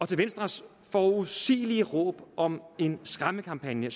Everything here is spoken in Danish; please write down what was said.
til venstres forudsigelige råb om en skræmmekampagne